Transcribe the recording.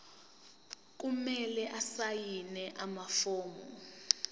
kumele asayine amafomu